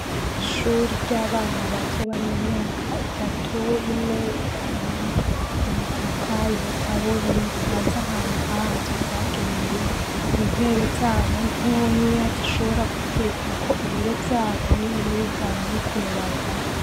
Ishuri ry'abana bato bari mu myaka itatu, ine, itanu. Umutaka, ibitabo bipanze ahantu havyo vyagenewe. Intebe zabo ntonya zishobora gukwigwako ibiro vyabo nyene bivanye n'ukuntu bangana.